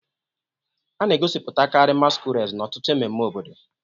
A na-egosipụtakarị masquerades n'ọtụtụ ememme obodo